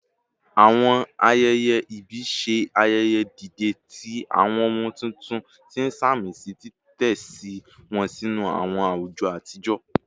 Awọn ayẹyẹ ibi ṣe ayẹyẹ dide ti awọn ọmọ tuntun, ti samisi titẹsi wọn sinu awọn awujọ atijọ